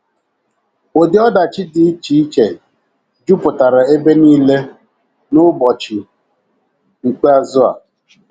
Ụdị ọdachi dị iche iche jupụtara ebe nile “ n’ụbọchị ikpeazụ ”” a.